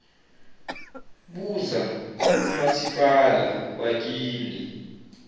buza kumasipala wakini